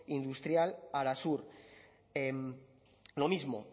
industrial arasur lo mismo